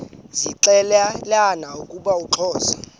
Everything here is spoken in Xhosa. zixelelana ukuba uxhosa